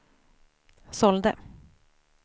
sålde